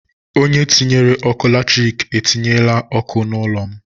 Onye tinyere ọkụ latrik etinyela ọkụ n'ụlọ m.